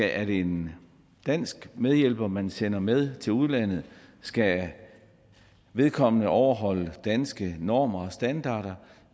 er det en dansk medhjælper man sender med til udlandet skal vedkommende overholde danske normer og standarder